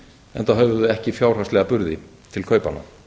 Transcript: enda höfðu þau ekki fjárhagslega burði til kaupanna